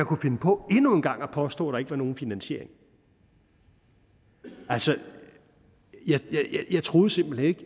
kunne finde på endnu en gang at påstå at der ikke var nogen finansiering altså jeg troede simpelt hen ikke